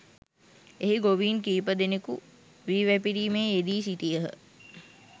එහි ගොවීන් කීපදෙනෙකු වී වැපිරීමේ යෙදී සිටියහ